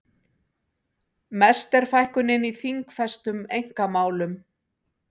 Mest er fækkunin í þingfestum einkamálum